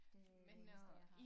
Det det eneste jeg har